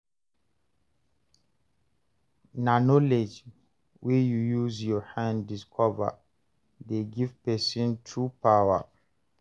Na knowledge wey you use your hand discover dey give person true power.